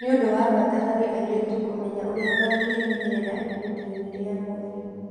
Nĩ ũndũ wa bata harĩ airĩtu kũmenya ũrĩa mangĩĩmenyerera ihinda-inĩ rĩa mweri.